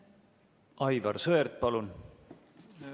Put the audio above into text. Aivar Sõerd, palun!